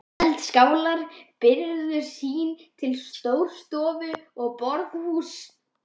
Eldaskálar byrgðu sýn til Stórustofu og borðhúss.